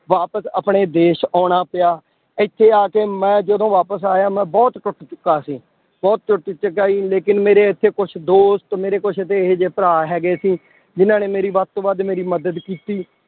ਵਾਪਿਸ ਆਪਣੇ ਦੇਸ ਆਉਣਾ ਪਿਆ, ਇੱਥੇ ਆ ਕੇ ਮੈਂ ਜਦੋਂ ਵਾਪਿਸ ਆਇਆ ਮੈਂ ਬਹੁਤ ਟੁੱਟ ਚੁੱਕਾ ਸੀ, ਬਹੁਤ ਟੁੱਟ ਚੁੱਕਾ ਸੀ ਲੇਕਿੰਨ ਮੇਰੇ ਇੱਥੇ ਕੁਛ ਦੋਸਤ ਮੇਰੇ ਕੁਛ ਇੱਥੇ ਇਹ ਜਿਹੇ ਭਰਾ ਹੈਗੇ ਸੀ, ਜਿੰਨਾਂ ਨੇ ਮੇਰੀ ਵੱਧ ਤੋਂ ਵੱਧ ਮੇਰੀ ਮਦਦ ਕੀਤੀ